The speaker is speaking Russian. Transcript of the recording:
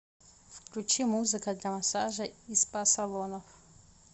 включи музыка для массажа и спа салонов